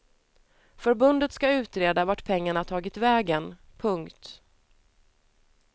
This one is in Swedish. Förbundet ska utreda vart pengarna tagit vägen. punkt